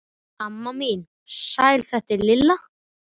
Amma mín, sæl þetta er Lilla